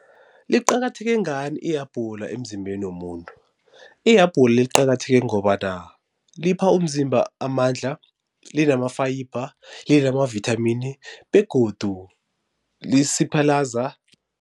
Liqakatheke ngani ihabhula emzimbeni womuntu? Ihabule liqakatheke ngobana lipha umzimba amandla, linama-fiber, linama-vithamini begodu lisiphalaza